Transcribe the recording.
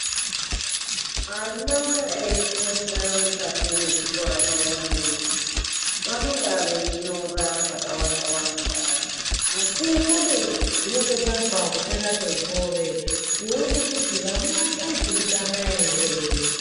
Ana eifunda mukati mechikora zviyani, vanenge veinyora zvakawanda -wanda. Asi ,pane zvinozobharwa kupera kwegore kuona kuti vana vaipurutana ere.